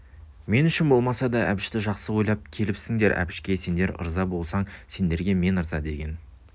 мен үшін болмаса да әбішті жақсы ойлап келіпсіңдер әбішке сендер ырза болсаң сендерге мен ырза деген